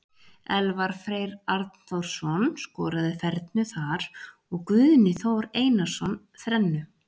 Elvar Freyr Arnþórsson skoraði fernu þar og Guðni Þór Einarsson þrennu.